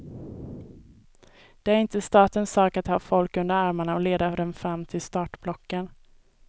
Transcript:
Det är inte statens sak att ta folk under armarna och leda dem fram till startblocken.